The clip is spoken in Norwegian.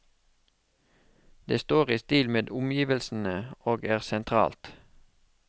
Det står i stil med omgivelsene og er sentralt.